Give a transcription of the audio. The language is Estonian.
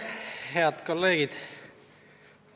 Head kolleegid!